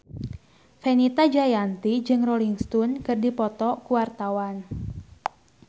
Fenita Jayanti jeung Rolling Stone keur dipoto ku wartawan